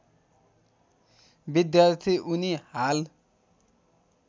विद्यार्थी उनी हाल